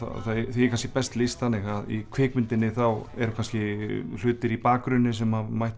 því er kannski best lýst þannig að í kvikmyndinni þá eru kannski hlutir í bakgrunni sem mætti